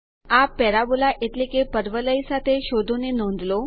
આ પેરાબોલા એટલે કે પરવલય સાથે શોધો ની નોંધ લો